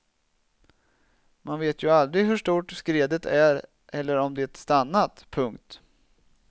Man vet ju aldrig hur stort skredet är eller om det stannat. punkt